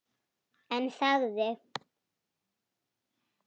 En þagði.